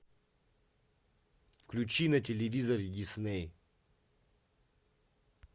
включи на телевизоре дисней